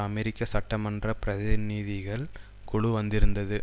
அமெரிக்க சட்டமன்ற பிரதிநிதிகள் குழு வந்திருந்தது